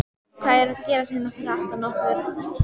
Hvað er að gerast hérna fyrir aftan okkur?